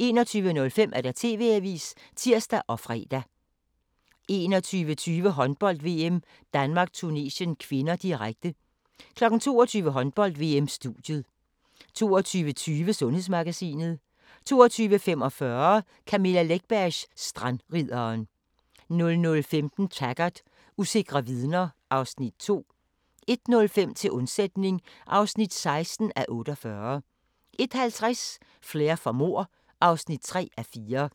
21:05: TV-avisen (tir og fre) 21:20: Håndbold: VM - Danmark-Tunesien (k), direkte 22:00: Håndbold: VM - studie 22:20: Sundhedsmagasinet 22:45: Camilla Läckbergs Strandridderen 00:15: Taggart: Usikre vidner (Afs. 2) 01:05: Til undsætning (16:48) 01:50: Flair for mord (3:4)